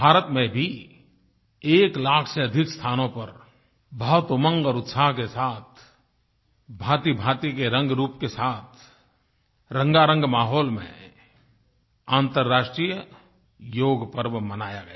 भारत में भी एक लाख से अधिक स्थानों पर बहुत उमंग और उत्साह के साथ भांतिभांति के रंगरूप के साथ रंगारंग माहौल में अन्तर्राष्ट्रीय योगपर्व मनाया गया